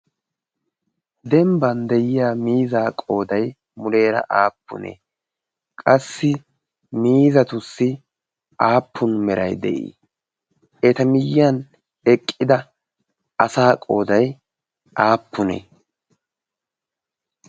dembban de'iya miiza qoodai muleera aappunee qassi miizatussi aappun merai de'ii eta miyyiyan eqqida asa qoodai aappunee?